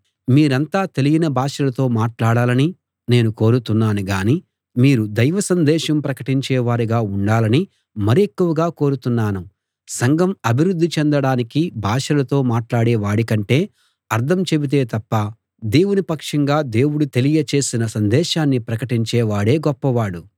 మీరంతా తెలియని భాషలతో మాట్లాడాలని నేను కోరుతున్నాను గాని మీరు దైవసందేశం ప్రకటించేవారుగా ఉండాలని మరెక్కువగా కోరుతున్నాను సంఘం అభివృద్ధి చెందడానికి భాషలతో మాట్లాడే వాడి కంటే అర్థం చెబితే తప్ప దేవుని పక్షంగా దేవుడు తెలియ చేసిన సందేశాన్ని ప్రకటించే వాడే గొప్పవాడు